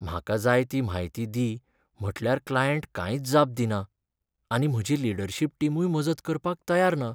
म्हाका जाय ती म्हायती दी म्हटल्यार क्लायंट कांयच जाप दिना आनी म्हजी लीडरशिप टीमूय मजत करपाक तयार ना.